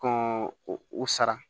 Kɔn o sara